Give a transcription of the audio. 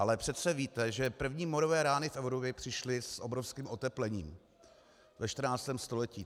Ale přece víte, že první morové rány v Evropě přišly s obrovským oteplením ve 14. století.